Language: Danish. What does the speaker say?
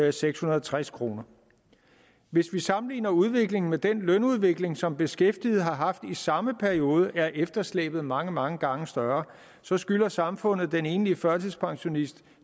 og sekshundrede og treds kroner hvis vi sammenligner udviklingen med den lønudvikling som beskæftigede har haft i samme periode er efterslæbet mange mange gange større så skylder samfundet den enlige førtidspensionist